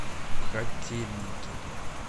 котельники